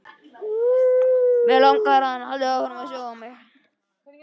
Áður en við svörum spurningunni þurfum við að átta okkur á því hvað skuggi er.